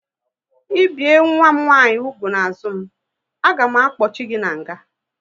I bie nwa m nwaanyị úgwù n'azụ m, a ga m akpochi gị n'nga!